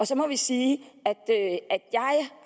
så må jeg sige